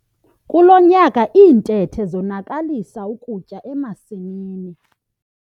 Kulo nyaka iintethe zonakalisa ukutya emasimini.